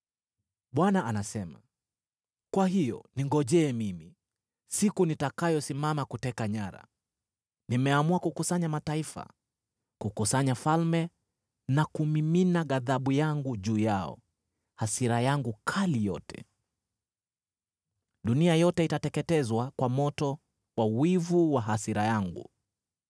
Bwana anasema, “Kwa hiyo ningojee mimi, siku nitakayosimama kuteka nyara. Nimeamua kukusanya mataifa, kukusanya falme na kumimina ghadhabu yangu juu yao, hasira yangu kali yote. Dunia yote itateketezwa kwa moto wa wivu wa hasira yangu.